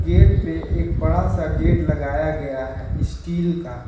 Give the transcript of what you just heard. Gate पे एक बड़ा सा गेट लगाया गया है स्टील का।